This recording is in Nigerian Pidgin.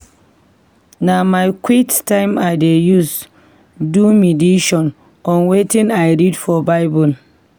Na my quiet time I dey use do medition on wetin I read for Bible.